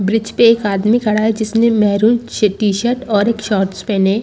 bridge पे एक आदमी खड़ा है जिसने मेहरून सी टी-शर्ट और एक शॉर्ट्स पेहने--